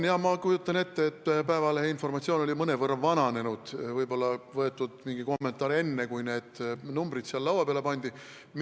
Ma kujutan ette, et Eesti Päevalehe informatsioon oli mõnevõrra vananenud, võib-olla oli võetud mingi kommentaar enne, kui need numbrid laua peale pandi.